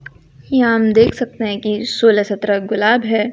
यहां हम देख सकते हैं कि सोलह सत्रह गुलाब है।